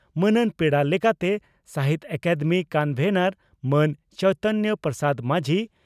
ᱢᱟᱹᱱᱟᱱ ᱯᱮᱲᱟ ᱞᱮᱠᱟᱛᱮ ᱥᱟᱦᱤᱛᱭᱚ ᱟᱠᱟᱫᱮᱢᱤ ᱠᱚᱱᱵᱷᱮᱱᱚᱨ ᱢᱟᱱ ᱪᱟᱭᱛᱟᱱ ᱯᱨᱚᱥᱟᱫᱽ ᱢᱟᱡᱷᱤ